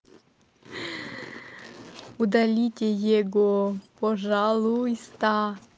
удалите его пожалуйста